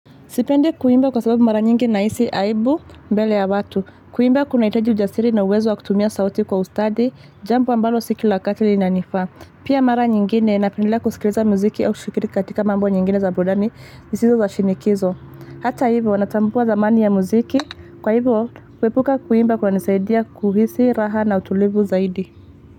Sipendi kuimba kwa sababu mara nyingi nahisi aibu mbele ya watu. Kuimba kunahitaji ujasiri na uwezo wa kutumia sauti kwa ustadi, jambo ambalo siki la wakati linanifaa. Pia mara nyingine nandendelea kusikiliza muziki au kushikiri katika mambo nyingine za burudani zisizo za shinikizo. Hata hivo, natambua dhamani ya muziki. Kwa hivo, kuepuka kuimba kunanisaidia kuhisi, raha na utulivu zaidi.